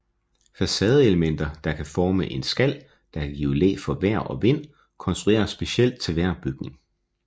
Facadeelementer der kan forme en skal der kan give læ for vejr og vind konstrueres specielt til hver bygning